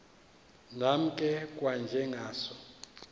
nam ke kwanjengazo